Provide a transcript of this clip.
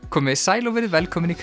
komiði sæl og verið velkomin í